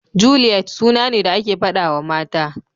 Juliyet suna ne da ake faɗawa mata.